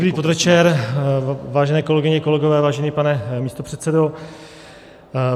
Dobrý podvečer, vážené kolegyně, kolegové, vážený pane místopředsedo.